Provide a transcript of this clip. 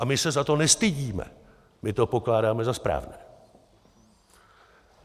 A my se za to nestydíme, my to pokládáme za správné.